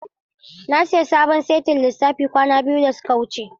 Na sayi sabon saitin lissafi kwana biyu da suka wuce.